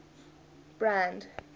brand